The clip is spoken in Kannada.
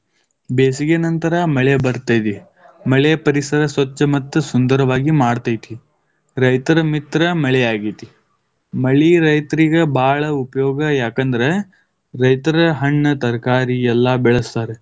ಬೇಸಿಗೆ ನಂತರ ಮಳೆ ಬರುತ್ತದೆ, ಮಳೆ ಪರಿಸರ ಸ್ವಚ್ಛ ಮತ್ತು ಸುಂದರವಾಗಿ ಮಾಡುತೈತಿ. ರೈತನ ಮಿತ್ರ ಮಳೆಯಾಗೇತಿ. ಮಳಿ ರೈತರಿಗ್ ಬಾಳ ಉಪಯೋಗ ಯಾಕಂದ್ರ, ರೈತರ ಹಣ್ಣ ತರಕಾರಿ ಎಲ್ಲ ಬೆಳೆಸ್ತಾರ.